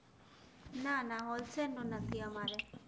ના ના હૉલસેલ નું નથી અમારે